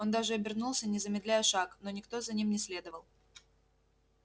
он даже обернулся не замедляя шаг но никто за ним не следовал